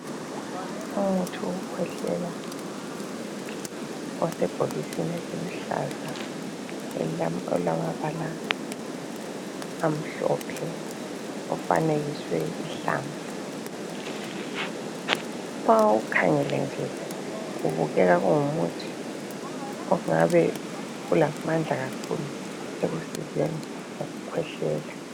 Umuthi wokukhwehlela osebhokisini eliluhlaza elilamabala amhlophe okufanekiswe ihlamvu ma uwukhangele nje kubukeka kungumuthi ongabe ulamandla kakhulu ekusizeni ukukhwehlela